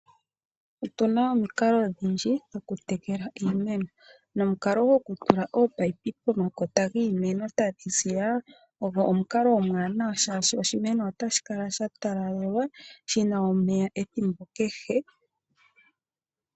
Otuna omikalo odhindji dho kutekela iimeno, nomikalo dho kutekela ominino pomakota giimeno tadhi ziya ogo omukalo omuwanawa shashi oshimeno otashi talalelwa shina omeya edthimbo kehe.